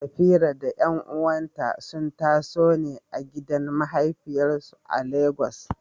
Safira da ƴan’uwanta sun taso ne a gidan mahafiyarsu a Legas.